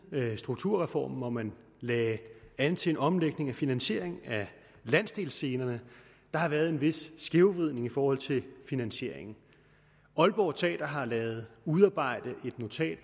strukturreformen hvor man lagde an til en omlægning af finansieringen af landsdelsscenerne har været en vis skævvridning i forhold til finansieringen aalborg teater har ladet udarbejde et notat